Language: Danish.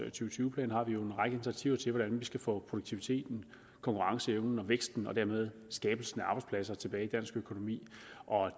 tyve plan har vi jo en række initiativer til hvordan vi skal få produktiviteten konkurrenceevnen og væksten og dermed skabelsen af arbejdspladser tilbage i dansk økonomi